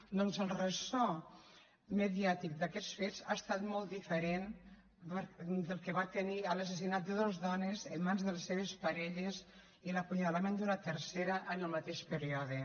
doncs el ressò mediàtic d’aquests fets ha estat molt diferent del que va tenir l’assassinat de dos dones en mans de les seves parelles i l’apunyalament d’una tercera en el mateix període